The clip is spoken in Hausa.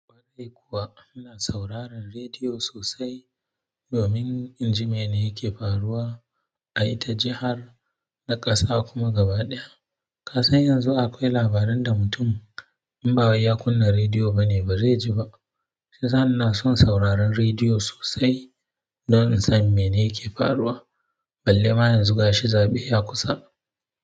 Kwarai kuwa, ina sauraron rediyo sosai domin in ji mene yake faruwa a ita jihar na ƙasa kuma gaba ɗaya. Ka san yanzu akwai labaran da mutum in ba ya kunna rediyo ba ne bazai ji ba. Shiyasa ina son sauraron rediyo sosai don in san mene yake faruwa balle ma yan zuga shi zaɓe ya kusa.